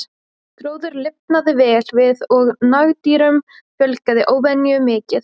Gróður lifnaði vel við og nagdýrum fjölgaði óvenju mikið.